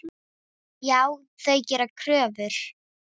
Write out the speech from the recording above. Já, þau gera kröfur.